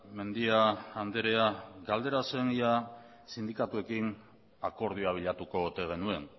mendia andrea galdera zen ea sindikatuekin akordioa bilatuko ote genuen